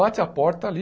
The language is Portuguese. Bate a porta ali.